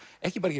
ekki bara